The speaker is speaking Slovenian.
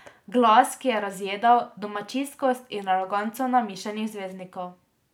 Glas, ki je razjedal domačijskost in aroganco namišljenih zvezdnikov.